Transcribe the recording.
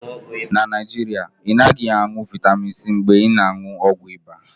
Na Naijiria, ị naghị aṅụ vịtamịn C mgbe ị na-aṅụ ọgwụ ịba